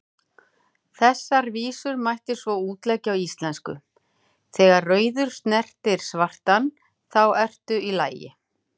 Þessar vísur mætti svo útleggja á íslensku: Þegar rauður snertir svartan, þá ertu í lagi,